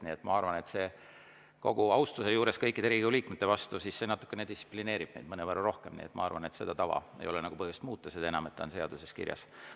Nii et ma arvan, kogu austuse juures kõikide Riigikogu liikmete vastu, et see distsiplineerib meid mõnevõrra rohkem, ja ma arvan, et seda tava ei ole põhjust muuta, seda enam, et see on seaduses kirjas.